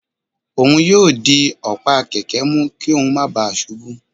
òun yóò dì ọ̀pá kẹkẹ mú kí óún má ​​bàa ṣubú